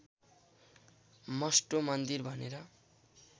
Mustoe मन्दिर भनेर